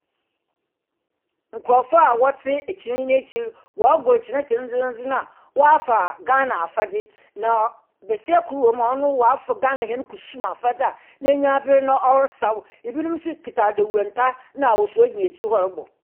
Nkurɔfo a wɔte ekyiinnii n’ekyir no wɔregoro kyere dzendzendzen a wafa Ghana afadze. Na besia kor wɔ mu a ɔno wafa Ghana hɛn kusumu afadze a n’enyiwa abre na ɔresaw. Ebinom nso kuta dawurunta ne nwosoe gyina akyiri hɔ rebɔ.